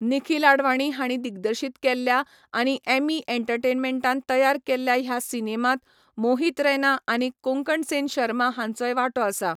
निखिल आडवाणी हांणी दिग्दर्शीत केल्ल्या आनी एम्मी एंटरटेनमेंटान तयार केल्ल्या ह्या सिनेमांत मोहित रैना आनी कोंकण सेन शर्मा हांचोय वांटो आसा.